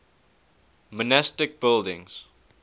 monastic buildings